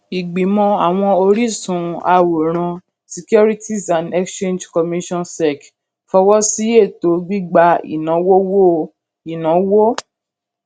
ìgbìmọ àwọn oríṣun àwòrán securities and exchange commission sec fọwọ sí ètò gbígba ìnáwówó ìnáwó ìnáwó